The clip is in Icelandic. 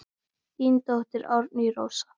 Þín dóttir Árný Rósa.